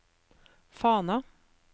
Fana